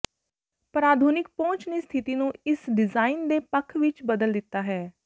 ਪਰ ਆਧੁਨਿਕ ਪਹੁੰਚ ਨੇ ਸਥਿਤੀ ਨੂੰ ਇਸ ਡਿਜ਼ਾਇਨ ਦੇ ਪੱਖ ਵਿੱਚ ਬਦਲ ਦਿੱਤਾ ਹੈ